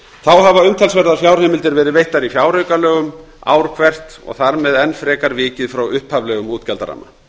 þá hafa umtalsverðar fjárheimildir verið veittar í fjáraukalögum ár hvert og þar með enn frekar vikið frá upphaflegum útgjaldaramma